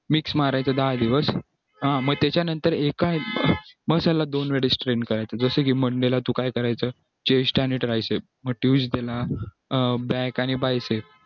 mix मारायचं दहा दिवस मग त्याच्यानंतर एका muscle ला दोन वेळा करायचं करायचं जसं की monday ला तू काय करायचं chest आणि ट tricep मग tuesday ला back आणि biceps